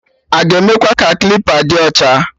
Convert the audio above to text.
Aga emekwa ka klipa dị ọcha?